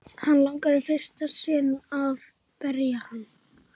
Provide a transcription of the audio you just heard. Hana langar í fyrsta sinn til að berja hann.